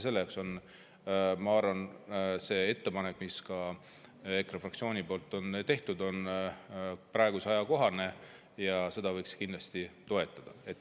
Selle jaoks on, ma arvan, see ettepanek, mis ka EKRE fraktsioonil on tehtud, ajakohane ja seda võiks kindlasti toetada.